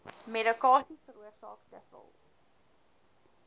medikasie veroorsaak dikwels